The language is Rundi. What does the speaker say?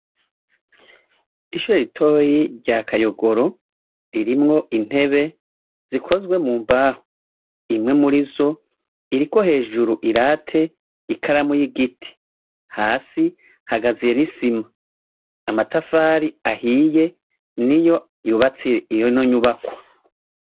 Ishure ritoyi rya Kayogoro ririmwo intebe zikozwe mu mbaho. Imwe murizo iriko hejuru i late, ikiramu y'igiti, hasi hakaziye n'isima, amatafari ahiye niyo yubatse ino nyubakwa.